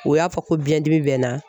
O y'a fɔ ko biɲɛdimi bɛ n na